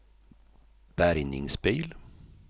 bärgningsbil